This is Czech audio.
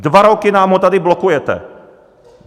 Dva roky nám ho tady blokujete!